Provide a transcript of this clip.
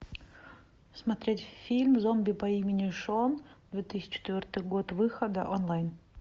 смотреть фильм зомби по имени шон две тысячи четвертый год выхода онлайн